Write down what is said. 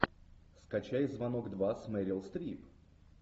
скачай звонок два с мерил стрип